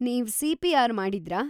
ನೀವ್ ಸಿ.ಪಿ.ಆರ್. ಮಾಡಿದ್ರಾ?